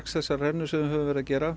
þessar rennur sem við höfum verið að gera